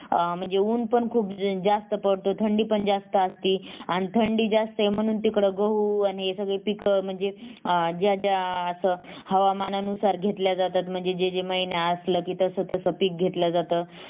अं म्हणजे उन्ह पण खूप जास्त पडत थंडी पण जास्त असती अन थंडी जास्त आहे म्हणून तिकडं गहू आणि सगळी पीक म्हणजे अं ज्या ज्या असं हवामानानुसार घेतल्या जातात म्हणजे जे जे महिना असल कि तस तस पीक घेतल जात